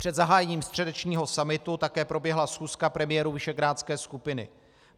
Před zahájením středečního summitu také proběhla schůzka premiérů visegrádské skupiny.